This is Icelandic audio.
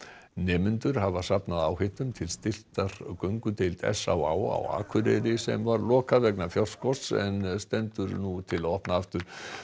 nemendur hafa safnað áheitum til styrktar göngudeild s á á á Akureyri sem var lokað vegna fjárskorts en stendur nú til að opna aftur